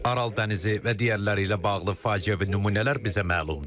Aral dənizi və digərləri ilə bağlı faciəvi nümunələr bizə məlumdur.